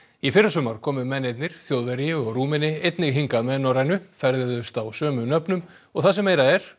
í fyrrasumar komu mennirnir Þjóðverji og Rúmeni einnig hingað með Norrænu ferðuðust á sömu nöfnum og það sem meira er